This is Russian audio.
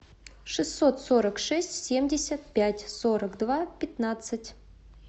шестьсот сорок шесть семьдесят пять сорок два пятнадцать